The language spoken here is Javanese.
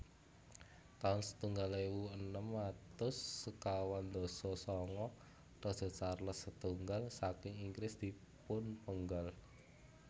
taun setunggal ewu enem atus sekawan dasa sanga Raja Charles setunggal saking Inggris dipunpenggal